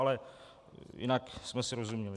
Ale jinak jsme si rozuměli.